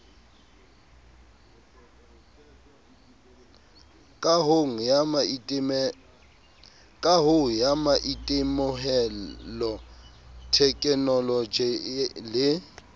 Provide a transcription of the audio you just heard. kahong ya maitemohelo thekenoloje le